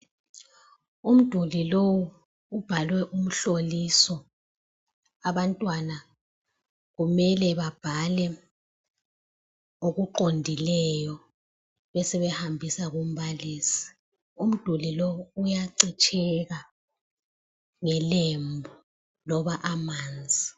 Umduli lowu ubhalwe umhloliso, abantwana kumele babhale okuqondileyo besebhambisa umbalisi. Umduli lowu uyacitsheka ngelembu loba amanzi.